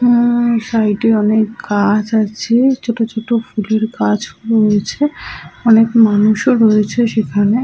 উমমমম সাইড -এ অনেক গাছ আছে ছোট ছোট ফুলের গাছও রয়েছে অনেক মানুষ রয়েছে সেখানে।